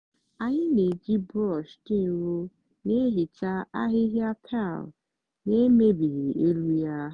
anyị na-eji brọsh dị nro na-ehicha ahịhịa tile na-emebighị elu ya.